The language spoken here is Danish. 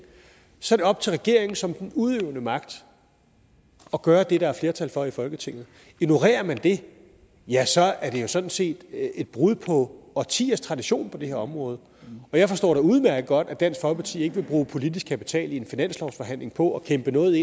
så er det op til regeringen som den udøvende magt at gøre det der er flertal for i folketinget ignorerer man det ja så er det jo sådan set et brud på årtiers tradition på det her område og jeg forstår da udmærket godt at dansk folkeparti ikke vil bruge politisk kapital i en finanslovsforhandling på at kæmpe noget